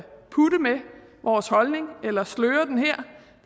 putte med vores holdning eller sløre den her